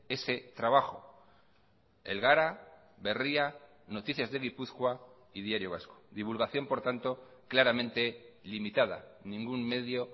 ese trabajo el gara berria noticias de gipuzkoa y diario vasco divulgación por tanto claramente limitada ningún medio